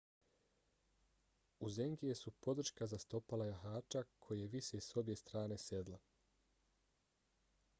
uzengije su podrška za stopala jahača koje vise s obje strane sedla